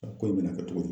ko in bɛna kɛ cogo di